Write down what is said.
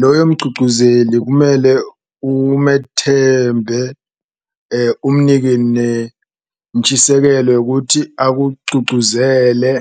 Loyo mgcugcuzeli kumele umethembe umnike nentshisekelo yokuthi akugcugcuzele,